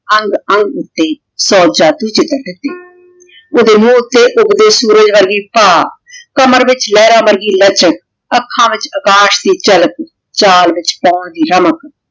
ਅੰਗ ਅੰਗ ਊਟੀ ਓਦੇ ਮੁਹ ਊਟੀ ਉਗਦੀ ਸੂਰਜ ਵਰਗੀ ਪਾ ਕਮਰ ਵਿਚ ਲੇਹ੍ਰਾਂ ਵਰਗੀ ਲਚਕ ਆਖਾਂ ਵਿਚ ਆਕਾਸ਼ ਦੀ ਚਾਲਕ ਚਲ ਵਿਚ ਮੋਰ ਦੀ ਰਾਮਕ